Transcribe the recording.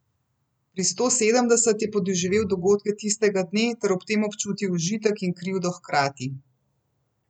Pri sto sedemdeset je podoživel dogodke tistega dne ter ob tem občutil užitek in krivdo hkrati.